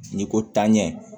N'i ko tanɲɛ